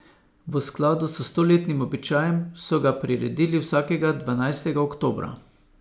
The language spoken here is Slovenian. V skladu s stoletnim običajem so ga priredili vsakega dvanajstega oktobra.